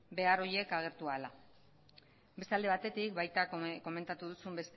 behar horiek agertu ahala beste alde batetik baita komentatu duzun